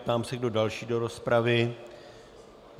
Ptám se, kdo další do rozpravy.